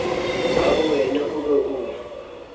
ka bowena o be o